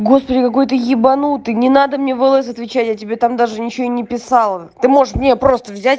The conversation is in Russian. господи какой ты ебанутый не надо мне в лс отвечать я тебе там даже ничего и не писала ты можешь мне просто взять